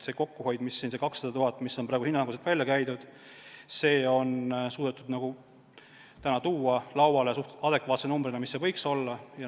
See kokkuhoid, see 200 000 eurot, mis on praegu hinnanguliselt välja käidud, on suudetud täna tuua lauale adekvaatse summana, mis see võiks olla.